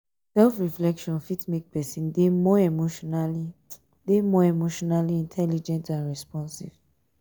self reflection fit make person dey more emotionally dey more emotionally intelligent and responsive